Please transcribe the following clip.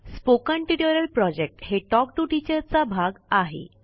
spoken tutorial project हे talk to teacher चा भाग आहे